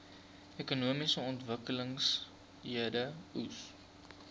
ekonomiese ontwikkelingseenhede eoes